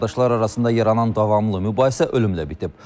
Qardaşlar arasında yaranan davamlı mübahisə ölümlə bitib.